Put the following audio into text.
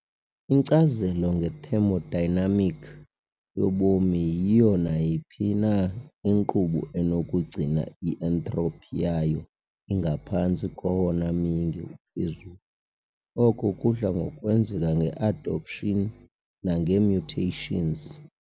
Inkcazo nge-thermodynamic yobomi yiyo nayiphi na inkqubo enokugcina i-entropy yayo ingaphantsi kowona myinge uphezulu oko kudla ngokwenzeka nge-adaptation nange-mutations.